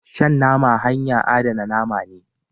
Shan nama hanya adana name ne.